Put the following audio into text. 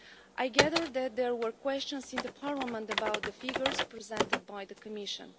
I gather that there were questions in Parliament about the figures presented by the Commission.